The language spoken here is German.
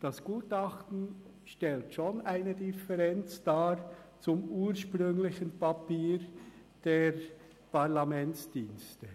Das Gutachten stellt schon eine Differenz dar zum ursprünglichen Papier der Parlamentsdienste.